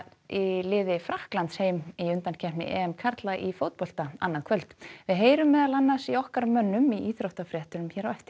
í liði Frakklands heim í undankeppni karla í fótbolta annað kvöld við heyrum meðal annars í okkar mönnum í íþróttafréttum hér á eftir